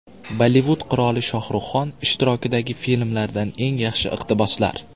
Bollivud qiroli Shohrux Xon ishtirokidagi filmlardan eng yaxshi iqtiboslar.